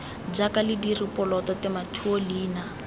jaaka lediri poloto tematheto leina